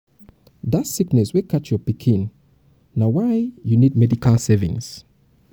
dat sickness wey catch your pikin na why you need medical savings.